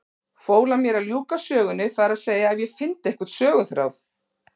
Fól hann mér að ljúka sögunni, það er að segja ef ég fyndi einhvern söguþráð.